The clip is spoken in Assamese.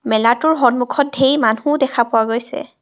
মেলাটোৰ সন্মুখত ধেই মানুহো দেখা পোৱা গৈছে।